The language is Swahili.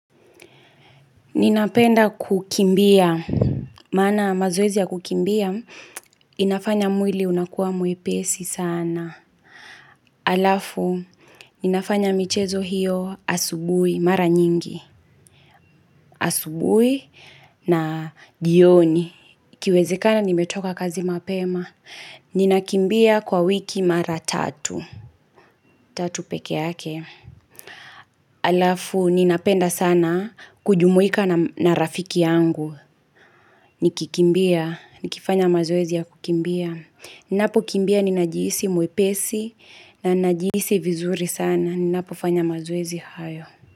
Ninapenda kukimbia. Maana mazoezi ya kukimbia, inafanya mwili unakuwa mwepesi sana. Halafu, ninafanya michezo hiyo asubuhi, mara nyingi, asubuhi naa njioni. Ikiwezekana, nimetoka kazi mapema. Ninakimbia kwa wiki mara tatu. Tatu peke yake. Halafu, ninapenda sana kujumuika nam na rafiki yangu. Nikikimbia. Nikifanya mazoezi ya kukimbia Ninapokimbia, ninajihisi mwepesi na ninajihisi vinzuri sana. Ninapofanya mazoezi hayo.